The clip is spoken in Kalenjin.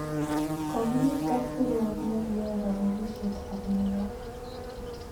Kogiitit kapkiruok negiyoe kapogisiet ab New York.